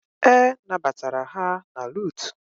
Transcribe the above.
E nabatara ha na Lutu